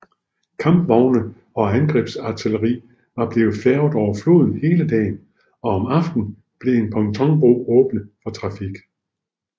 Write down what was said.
Kampvogne og angrebsartilleri var blevet færget over floden hele dagen og om aftenen blev en pontonbro åbnet for trafik